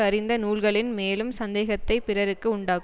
அறிந்த நூல்களின் மேலும் சந்தேகத்தைப் பிறர்க்கு உண்டாக்கும்